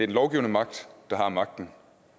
lovgivende magt der har magten